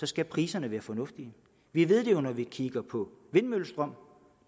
skal priserne være fornuftige vi ved det jo når vi kigger på vindmøllestrøm